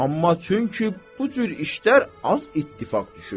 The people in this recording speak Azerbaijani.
Amma çünki bu cür işlər az ittifaq düşür.